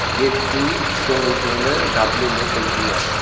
gate chong wai chongley dapley ley tai hua a.